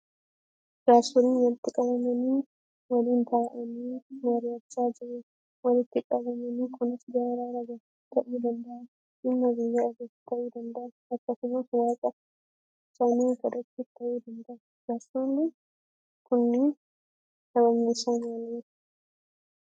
Jaarsoliin walitti qabamanii waliin taa'anii mari'achaa jiru. Walitti qabamni kunis, araara buusuuf ta'uu danda'a; dhimma biyyaa irratti ta'uu danda'a; akkasumas waaqa isaanii kadhachuuf ta'uu danda'a. Jaarsoliin kunniin sabni isaanii maali?